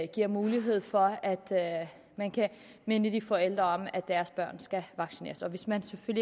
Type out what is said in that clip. giver mulighed for at man kan minde de forældre om at deres børn skal vaccineres hvis man